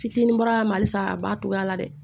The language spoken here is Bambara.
Fitinin bɔra a ma halisa a b'a cogoya la dɛ